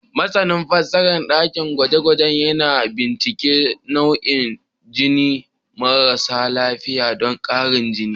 Masanin fasahar dakin gwaje-gwaje yana bincika nau'in jinin marasa lafiya don ƙarin jini.